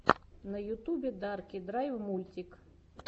на ютьюбе дарки драв мультик